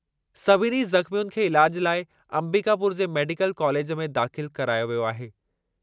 सभिनी ज़ख़्मियुनि खे इलाजु लाइ अंबिकापुर जे मेडिकल कालेज में दाख़िल करायो वियो आहे।